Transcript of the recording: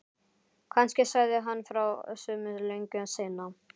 Kannski sagði hann frá sumu löngu seinna.